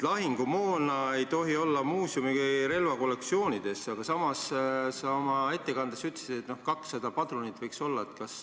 Lahingumoona ei tohi muuseumi relvakollektsioonis olla, aga samas sa oma ettekandes ütlesid, et 200 padrunit võiks olla.